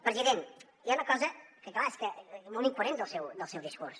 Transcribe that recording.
president hi ha una cosa que clar és molt incoherent del seu discurs